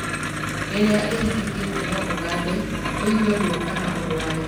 Rĩrĩa ĩhingĩkĩte no ũgande, ũigue ruo kana ũrware.